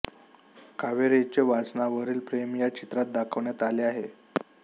कावेरीचे वाचनावरील प्रेम या चित्रात दाखवण्यात आले आहे